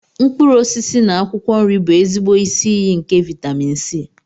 Mkpụrụ osisi na akwụkwọ nri bụ ezigbo isi iyi nke vitámịn C